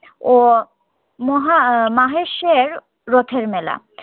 ও মহা মাহেশ্বের রথের মেলা